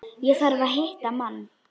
Ég þarf að hitta mann.